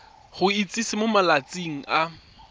go itsise mo malatsing a